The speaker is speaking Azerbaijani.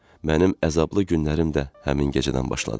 Mənim əzablı günlərim də həmin gecədən başladı.